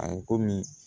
A ye komi